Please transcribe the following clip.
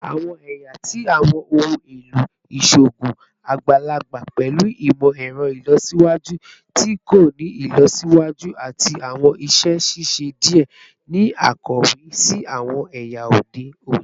Awọn ẹya ti awọn ohun elo iṣoogun agbalagba pẹlu imọ-ẹrọ ilọsiwaju ti ko ni ilọsiwaju ati awọn iṣẹ ṣiṣe diẹ ni akawe si awọn ẹya ode oni